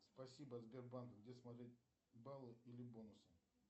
спасибо сбербанк где смотреть баллы или бонусы